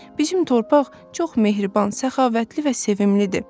Bizim torpaq çox mehriban, səxavətli və sevimilidir.